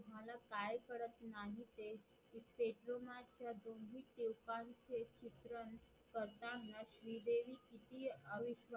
दोन्ही स्वरूपाचे चित्रण करताना श्री देवी कितीय